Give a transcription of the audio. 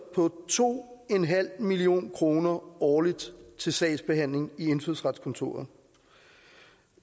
på to million kroner årligt til sagsbehandling i indfødsretskontoret